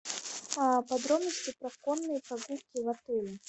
подробности про конные прогулки в отеле